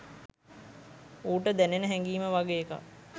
ඌට දැනෙන හැඟීම වගේ එකක්.